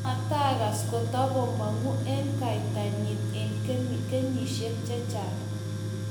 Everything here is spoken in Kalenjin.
matakas kotamong'u eng' kaita nin eng' kenyisiek chechang'